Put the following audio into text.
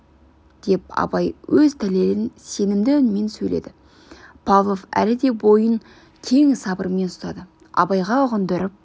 деп абай өз дәлелін сенімді үнмен сөйледі павлов әлі де бойын кең сабырмен ұстады абайға ұғындырып